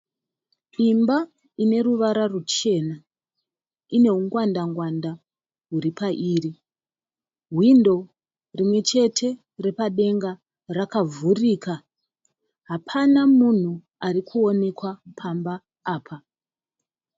Imba ine une ruvara ruchena. lne ungwandangwanda huri pairi. Hwindo rimwe chete repadenga rakavhurika. Hapana munhu ari kuoneka pamba apa.